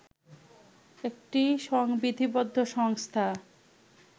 একটি সংবিধিবদ্ধ সংস্থা